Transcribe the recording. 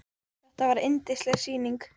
Þetta var yndisleg sýning.